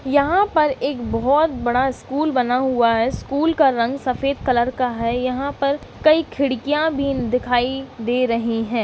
यहाँ पर एक बहुत बड़ा स्कूल बना हुआ है| स्कूल का रंग सफ़ेद कलर का है| यहाँ पर कई खिडकियां भी दिखाई दे रही है।